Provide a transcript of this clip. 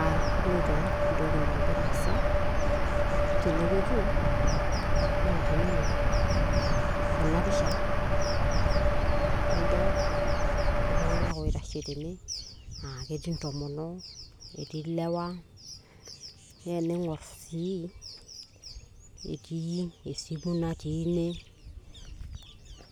uh, ore taa entoki nagira aasa tenewueji naa tening'orr ena pisha nidol iltung'anak oitashe tene uh, ketii intomonok etii ilewa naa ening'orr sii etii esimu natii ine